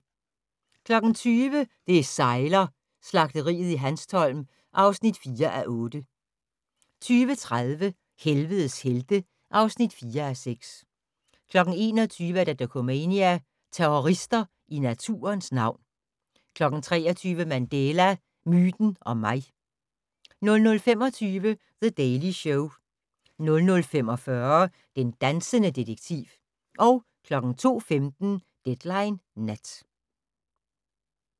20:00: Det sejler - Slagteriet i Hanstholm (4:8) 20:30: Helvedes helte (4:6) 21:00: Dokumania: Terrorister i naturens navn 23:00: Mandela - myten og mig 00:25: The Daily Show 00:45: Den dansende detektiv 02:15: Deadline Nat